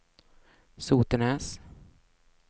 Sotenäs